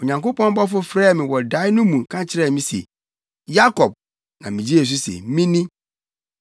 Onyankopɔn bɔfo frɛɛ me wɔ dae no mu ka kyerɛɛ me se, ‘Yakob!’ Na migyee so se, ‘Me ni!’